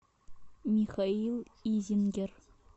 михаил изингер